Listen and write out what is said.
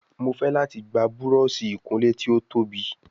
Mọ fè láti gbà Búrọ̀ọ̀ṣì ìkunlé tí o tóbi